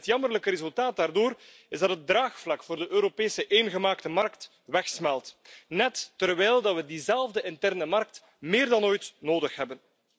Het jammerlijke resultaat is dat het draagvlak voor de Europese eengemaakte markt wegsmelt, net terwijl we diezelfde interne markt meer dan ooit nodig hebben.